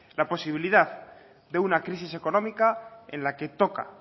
la posibilidad de una crisis económica en la que toca